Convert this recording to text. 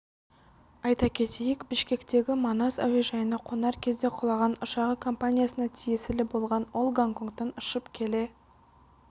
айта кетейік бішкектегі манас әуежайына қонар кезде құлаған ұшағы компаниясына тиесілі болған ол гонконгтан ұшып келе